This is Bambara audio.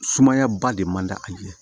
Sumaya ba de man da a ɲɛ